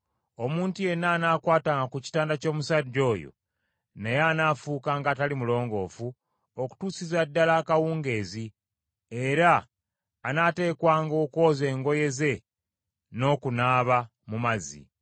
Omuntu yenna anaakwatanga ku kitanda ky’omusajja oyo naye anaafuukanga atali mulongoofu okutuusiza ddala akawungeezi, era anaateekwanga okwoza engoye ze n’okunaaba mu mazzi.